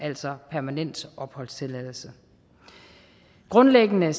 altså permanent opholdstilladelse grundlæggende